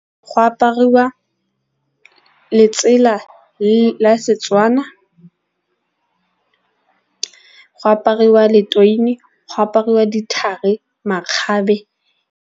Go apariwa letsela la Setswana go apariwa , go apariwa dithari, makgabe.